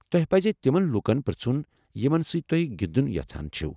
توہہِ پزِ تِمن لوٗكن پر٘ژھن یمن سۭتۍ تُہۍ گِندُن یژھان چھِو ۔